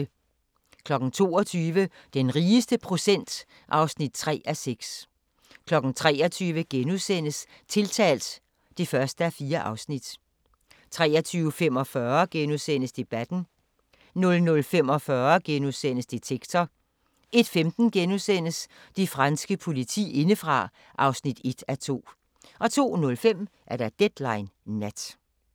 22:00: Den rigeste procent (3:6) 23:00: Tiltalt (1:4)* 23:45: Debatten * 00:45: Detektor * 01:15: Det franske politi indefra (1:2)* 02:05: Deadline Nat